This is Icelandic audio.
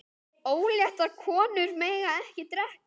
Óléttar konur mega ekki drekka.